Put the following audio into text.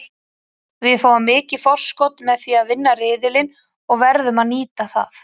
Við fáum mikið forskot með því að vinna riðilinn og verðum að nýta það.